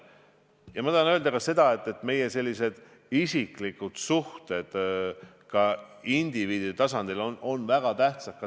Ja ma tahan öelda ka seda, et ka isiklikud suhted, suhted ka indiviidide tasandil, on väga tähtsad.